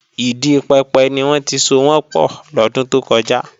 Ìdi pẹpẹ ni wọ́n ti sowọ́n pọ̀ lọ́dún tó kọjá